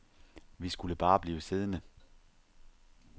Vi skulle bare blive siddende.